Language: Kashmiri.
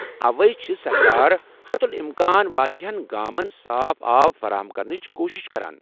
اوے چھِ سرکار حتُل امكان وارِیاہن گامن صاف آب فراہم كرنٕچہِ کوٗشِش کران ۔